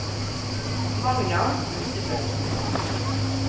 Magna Husebø